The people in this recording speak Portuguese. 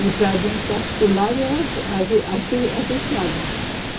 E para dentro para, para o lado eram as e, as se, as estradas.